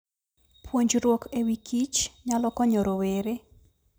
Puonjruok e wi Kich nyalo konyo rowere.